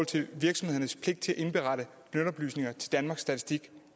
til virksomhedernes pligt til at indberette lønoplysninger til danmarks statistik